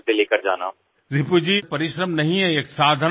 મોદીજીઃ રિપુજી પરિશ્રમ નથી આ એક સાધના છે